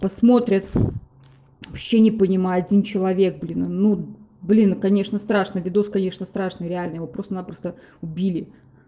посмотрят вообще не понимаю один человек блин ну блин конечно страшно видос конечно страшно реально его просто напросто убили